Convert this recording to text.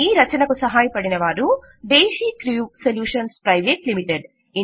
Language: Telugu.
ఈ రచనకు సహాయపడిన వారు దేశీక్ర్యూ సొల్యూషన్స్ ప్రైవేట్ లిమిటెడ్